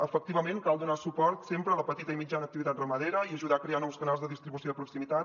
efectivament cal donar suport sempre a la petita i mitjana activitat ramadera i ajudar a crear nous canals de distribució de proximitat